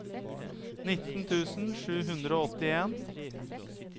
nitten tusen sju hundre og åttien